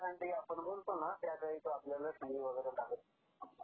जेवढी थंडी आपण म्हणतो ना तेवढी अशी काही लागत नाही.